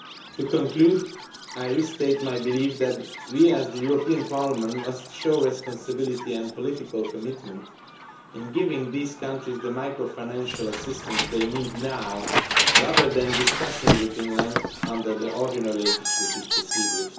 To conclude, I restate my belief that we as the European Parliament must show responsibility and political commitment in giving these countries the macro financial assistance they need now, rather than discussing this at length under the ordinary legislative procedure.